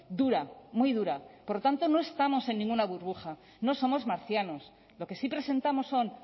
dura muy dura por lo tanto no estamos en ninguna burbuja no somos marcianos lo que sí presentamos son